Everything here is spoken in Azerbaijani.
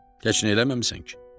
heç nə eləməmisən ki.